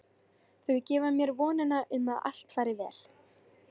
Þau gefa mér vonina um að allt fari vel.